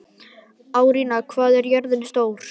Árnína, hvað er jörðin stór?